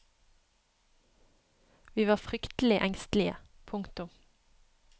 Vi var fryktelig engstelige. punktum